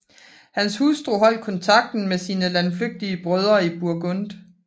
Hans hustru holdt kontakten med sine landflygtige brødre i Burgund